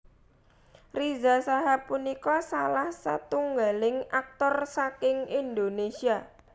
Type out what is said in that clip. Riza Shahab punika salah setunggaling aktor saking Indonésia